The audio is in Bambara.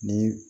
Ni